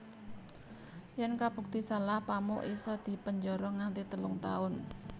Yèn kabukti salah Pamuk isa dipenjara nganti telung tahun